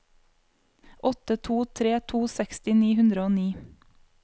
åtte to tre to seksti ni hundre og ni